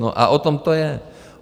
No a o tom to je.